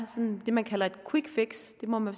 det man kalder et quick fix det må man